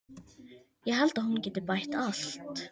Ég held að hún geti bætt allt.